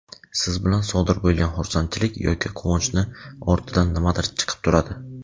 Siz bilan sodir bo‘lgan xursandchilik yoki quvonchni ortidan nimadir chiqib turadi.